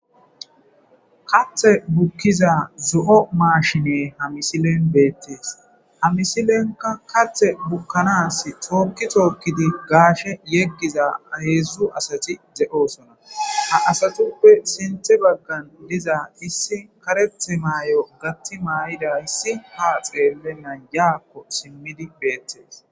Kaathi bukiza zo'o maashine misilezi beetes. Ha misileyka kaathi bukanasi toki tookidi gaashe yegiza hezhu asati de'osona. Ha asatape sinthe bagan diza karethi mayida addezi ha simena ya xelidi dizays betees.